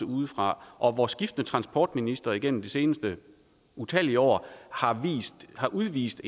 udefra og hvor skiftende transportministre gennem de seneste utallige år har udvist